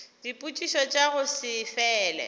dipotšišo tša go se fele